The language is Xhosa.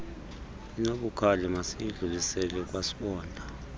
inobukhali masiyidlulisele kwasibonda